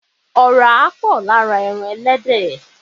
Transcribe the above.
Ọ̀rá pọ̀ lára ẹran Ẹlẹ́dẹ̀